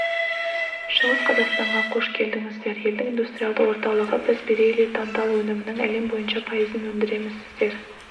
шығыс қазақстанға қош келдіңіздер елдің индустриалды орталығы біз бериллий тантал өнімінің әлем бойынша пайызын өндіреміз сіздер